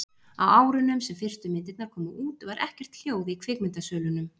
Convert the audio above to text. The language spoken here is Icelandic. Á árunum sem fyrstu myndirnar komu út var ekkert hljóð í kvikmyndasölunum.